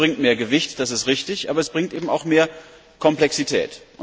Mehr Größe bringt mehr Gewicht, das ist richtig, aber sie bringt auch mehr Komplexität.